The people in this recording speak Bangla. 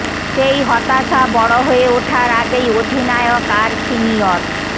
সেই হতাশা বড় হয়ে ওঠার আগেই অধিনায়ক আর সিনিয়র